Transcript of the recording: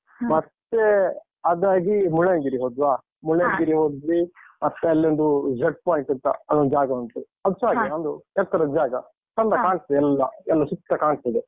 ಮತ್ತೆ ಅದಾಗಿ ಮುಳ್ಳಯ್ಯನಗಿರಿ ಹೊದ್ವಾ. ಹೋದ್ವಿ ಮತ್ತೆ ಅಲ್ಲೊಂದು jut point ಅಂತ, ಅದೊಂದ್ ಜಾಗ ಉಂಟು. ಒಂದು ಎತ್ತರದ ಜಾಗ. ಕಾಣ್ಸ್ತದೆ ಎಲ್ಲ. ಎಲ್ಲ ಸುತ್ತ ಕಾಣ್ಸ್ತದೆ.